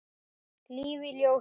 Líf í ljósi.